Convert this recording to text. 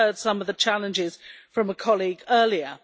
We heard some of the challenges from a colleague earlier.